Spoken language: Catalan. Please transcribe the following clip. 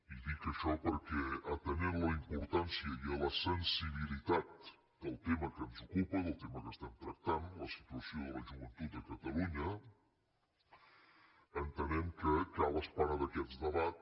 i dic això perquè atenent a la importància i a la sensibilitat del tema que ens ocupa del tema que estem tractant la situació de la joventut a catalunya entenem que cal esperar d’aquest debat